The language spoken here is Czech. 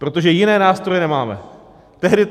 Protože jiné nástroje nemáme.